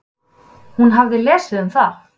Hún hafði lesið um það.